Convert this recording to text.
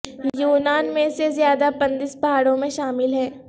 یونان میں سے زیادہ پندس پہاڑوں میں شامل ہیں